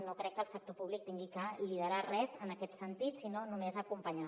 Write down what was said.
no crec que el sector públic hagi de liderar res en aquest sentit sinó només acompanyar